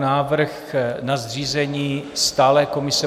Návrh na zřízení stálé komise